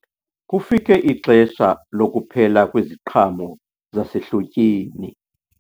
Kufike ixesha lokuphela kweziqhamo zasehlotyeni.